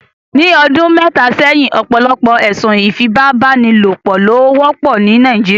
Ni ọdun mẹta sẹhin, ọpọlọpọ ẹsun ifipabanilopo lo wọpọ ni Nàìjíríà